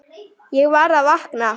Ég var að vakna.